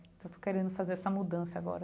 Então estou querendo fazer essa mudança agora.